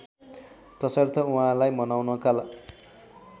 तसर्थ उहाँलाई मनाउनका